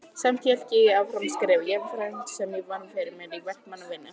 Samt hélt ég áfram að skrifa, jafnframt því sem ég vann fyrir mér í verkamannavinnu.